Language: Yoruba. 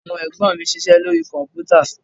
Àwọn Ẹ̀gbọ́n mi ń ṣiṣẹ́ lórí Kọ̀m̀pútà